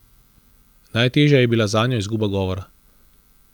Najtežja je bila zanjo izguba govora.